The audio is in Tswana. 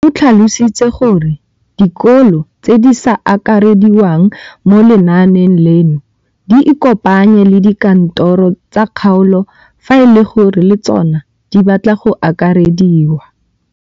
O tlhalositse gore dikolo tse di sa akarediwang mo lenaaneng leno di ikopanye le dikantoro tsa kgaolo fa e le gore le tsona di batla go akarediwa.